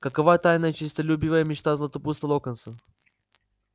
какова тайная честолюбивая мечта златопуста локонса